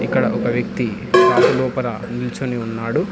ఇక్కడ ఒక వ్యక్తి షాపు లోపల నిల్చొని ఉన్నాడు.